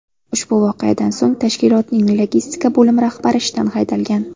Ushbu voqeadan so‘ng tashkilotning logistika bo‘limi rahbari ishdan haydalgan.